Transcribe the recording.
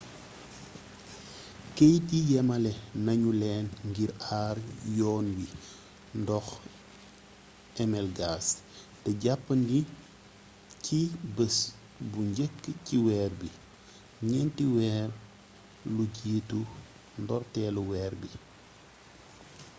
keeyit yi yamalé nañu leen ngir aar yoon wi ndox mi gas té jàppandi ci bés bu njëkk ci weer bi ñenti weer lu jiitu ndortéelu weer bi